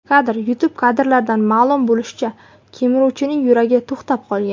Kadr: YouTube Kadrlardan ma’lum bo‘lishicha, kemiruvchining yuragi to‘xtab qolgan.